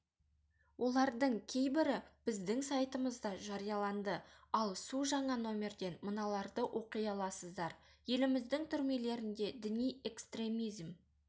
олардың кейбірі біздің сайтымызда жарияланды ал су жаңа нөмірден мыналарды оқи аласыздар еліміздің түрмелерінде діни экстремизм